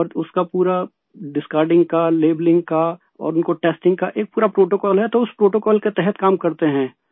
اور اسکا پورا ڈسکارڈنگ کا، لیبلنگ کا اور ان کی ٹیسٹنگ کا ایک پورا پروٹوکول ہے تو اس پروٹوکول کے تحت کام کرتے ہیں